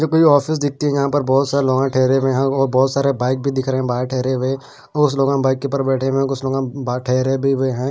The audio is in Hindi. जो कोई ऑफिस दिखती हैं यहाँ पर बहुत सारे लोग ठहरे हुए हैं और बहुत सारे बाइक भी दिख रहे हैं बाहर ठहरे हुए हैं कुस लोग बाइक के ऊपर बैठे हुए हैं कुस लोग ठहरे भी हुए हैं।